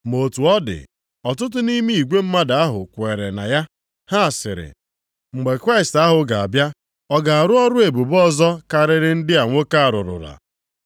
Ma otu ọ dị, ọtụtụ nʼime igwe mmadụ ahụ kweere na ya. Ha sịrị, “Mgbe Kraịst ahụ ga-abịa, ọ ga-arụ ọrụ ebube ọzọ karịrị ndị a nwoke a rụrụla?”